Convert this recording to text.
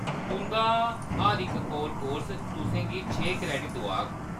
तुंʼदा हर इक कोर कोर्स तुसें गी छे क्रेडिट दोआग।